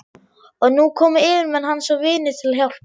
Og nú komu yfirmenn hans og vinir til hjálpar.